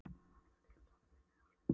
Hann hefur klippt á sambandið, er horfinn.